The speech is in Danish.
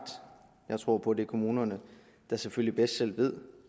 tror på at det er kommunerne der selvfølgelig bedst selv ved